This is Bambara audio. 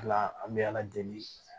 An bɛ ala deli